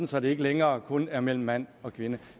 så det ikke længere kun er mellem mand og kvinde